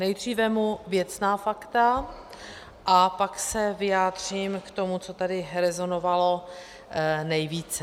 Nejdřív vezmu věcná fakta a pak se vyjádřím k tomu, co tady rezonovalo nejvíce.